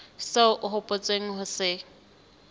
seo o hopotseng ho se